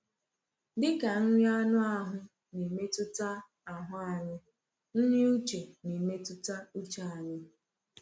Dịka nri anụ ahụ na-emetụta ahụ anyị, nri uche na-emetụta uche anyị.